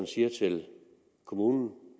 sige til kommunen